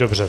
Dobře.